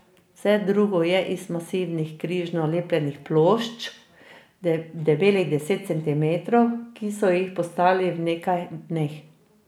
Vse drugo je iz masivnih križno lepljenih plošč, debelih deset centimetrov, ki so jih postavili v nekaj dneh.